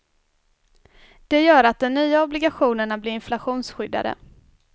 Det gör att den nya obligationerna blir inflationsskyddade.